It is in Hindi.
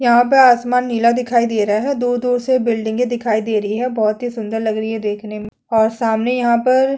यहाँ पर आसमान नीला दिखाई दे रहा है दूर-दूर से बिल्डिंग दिखाई दे रही है बहोत ही सुंदर लग रही है देखने में और सामने यहाँ पर --